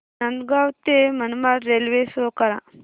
नांदगाव ते Manmad railway show करा